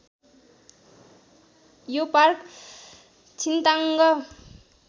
यो पार्क छिन्ताङ्ग